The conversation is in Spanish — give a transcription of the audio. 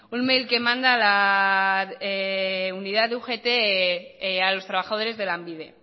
email que manda la unidad de ugt a los trabajadores de lanbide